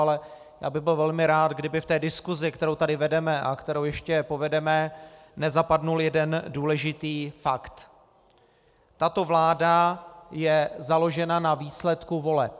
Ale já bych byl velmi rád, kdyby v té diskusi, kterou tady vedeme a kterou ještě povedeme, nezapadl jeden důležitý fakt: Tato vláda je založena na výsledku voleb.